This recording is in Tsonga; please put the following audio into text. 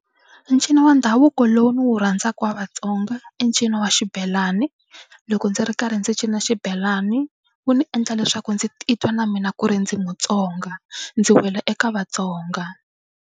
Ncino wa ndhavuko lowu ndzi wu rhandzaka wa Vatsonga i ncino wa xibelani loko ndzi ri karhi ndzi cina xibelani wu ndzi endla leswaku ndzi titwa na mina ku ri ndzi Mutsonga ndzi wela eka Vatsonga.